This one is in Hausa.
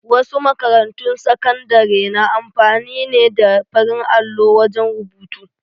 Wasu makarantun sakandare na amfani ne da farin allo wajen rubutu.